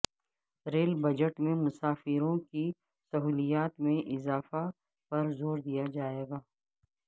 rail budget میں مسافروں کی سہولیات میں اضافہ پر زور دیا جائے گا